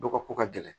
Dɔ ka ko ka gɛlɛn